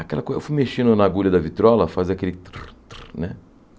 Aquela coisa, eu fui mexendo na agulha da vitrola, faz aquele tru, tru, né?